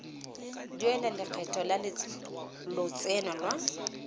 duela lekgetho la lotseno lwa